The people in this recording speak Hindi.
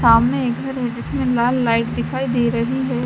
सामने एक घर है जिसमे लाल लाइट दिखाई दे रही है।